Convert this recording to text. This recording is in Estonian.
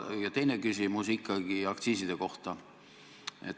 Ja teine küsimus puudutab aktsiise.